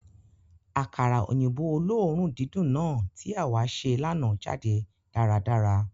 Àkàrà òyìnbó oloorun dídùn náà tí àwá se lánàá jáde dáradára.